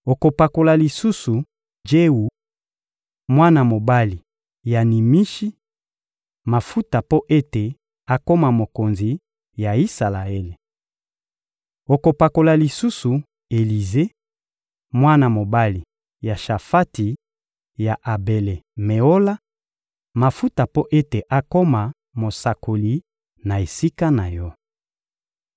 Okopakola lisusu Jewu, mwana mobali ya Nimishi, mafuta mpo ete akoma mokonzi ya Isalaele. Okopakola lisusu Elize, mwana mobali ya Shafati ya Abele-Meola, mafuta mpo ete akoma mosakoli na esika na yo.